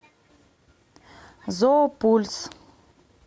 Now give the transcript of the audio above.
зоопульс